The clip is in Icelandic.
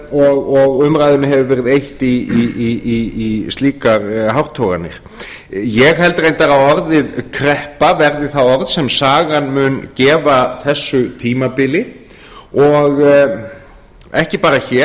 og umræðunni hefur verið eytt í slíkar hártoganir ég held reyndar að orðið kreppa verði það orð sem sagan muni gefa þessu tímabili og ekki bara hér